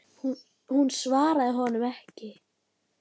Hún svaraði honum ekki.